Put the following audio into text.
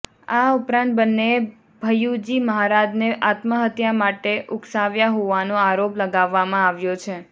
આ ઉપરાંત બન્નેએ ભૈયુજી મહારાજને આત્મહત્યા માટે ઉકસાવ્યા હોવાનો આરોપ લગાવવામાં આવ્યો છે